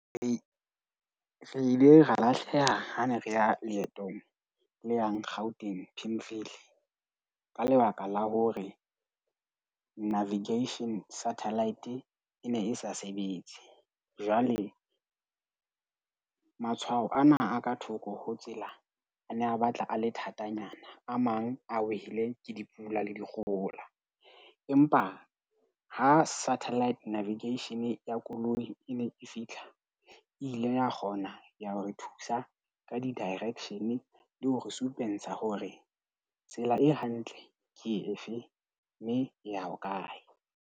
Re re ile ra lahleha ha ne re ya leetong le yang Gauteng Pimville, ka lebaka la hore navigation satellite e ne e sa sebetse. Jwale matshwao ana a ka thoko ho tsela a ne a batla a le thatanyana. A mang a wele ke dipula le dikgohola. Empa ha satellite navigation ya koloi e ne e fihla, e ile ya kgona ya ho re thusa ka di direction le hore supentsha hore tsela e hantle ke efe, mme e ya hokae.